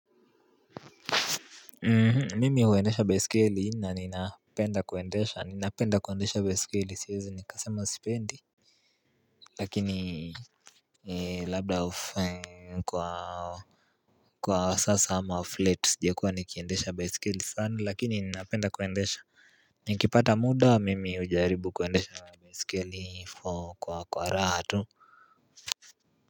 Mimi huendesha baisikeli na ninapenda kuendesha ninapenda kuendesha baisikeli siwezi nikasema sipendi Lakini labda kwa kwa sasa ama off late sijakuwa nikiendesha baisikeli sana lakini ninapenda kuendesha Nikipata muda mimi hujaribu kuendesha baisikeli kwa kwa raha tu.